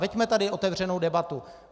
Veďme tady otevřenou debatu.